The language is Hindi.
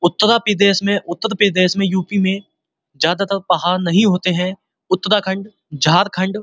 उत्तरा प्रदेश में उत्तर प्रदेश में यू.पी में जहाँ तर पहाड़ नहीं होते है उत्तराखंड झारखण्ड --